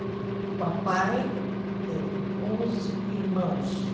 O papai teve onze irmãos.